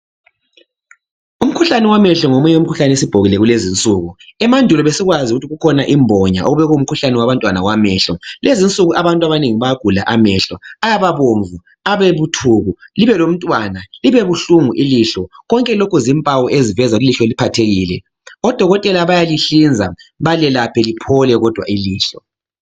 Umkhuhlane wamehlo ngomunye umkhuhlane osubhokile kulezinsuku. Emandulo besikwazi ukuthi kukhona imbonya obekungumkhuhlane wabantwana wamehlo. Lezinsuku abantu abanengi bayagula amehlo, ayaba bomvu, abebuthuku, libe lomntwana libebuhlungu ilihlo konke lokhu zimpawo eziveza ilihlo liphathekile odokotela bayalihlinza balelaphe liphole kodwa ilihlo.